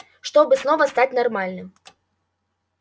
чтобы снова стать нормальным